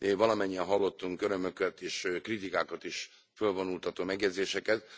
Valamennyien hallottunk örömöket és kritikákat is fölvonultató megjegyzéseket.